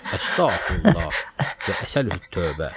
Əstəğfirullah və əsəlüt-tövbə.